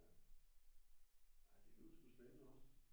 Ja ja det lyder sku spændende også